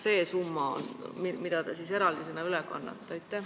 Miks te eraldisena just selle summa üle kannate?